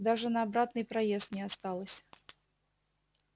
даже на обратный проезд не осталось